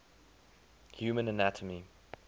human anatomy